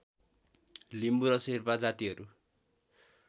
लिम्बु र शेर्पा जातिहरू